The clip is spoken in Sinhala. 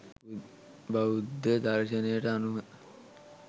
බෞද්ධ දර්ශනයට අනුව